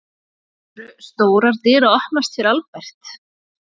Voru stórar dyr að opnast fyrir Albert?